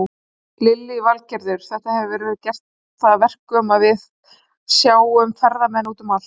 Lillý Valgerður: Þetta hefur gert það að verkum að við sjáum ferðamenn út um allt?